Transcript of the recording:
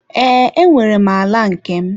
Ee, enwere m ala nke m.